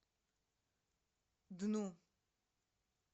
дну